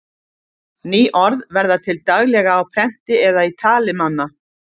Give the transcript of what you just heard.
ný orð verða til daglega á prenti eða í tali manna